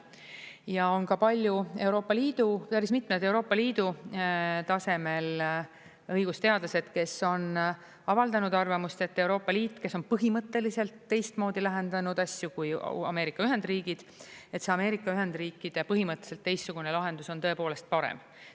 Ja on ka päris mitmed Euroopa Liidu tasemel õigusteadlased, kes on avaldanud arvamust, et Euroopa Liit, kes on põhimõtteliselt teistmoodi lahendanud asju kui Ameerika Ühendriigid, et see Ameerika Ühendriikide põhimõtteliselt teistsugune lahendus on tõepoolest parem.